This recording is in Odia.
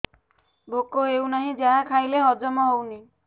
ଭୋକ ହେଉନାହିଁ ଯାହା ଖାଇଲେ ହଜମ ହଉନି